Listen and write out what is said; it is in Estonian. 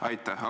Aitäh!